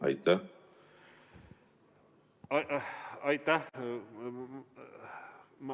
Aitäh!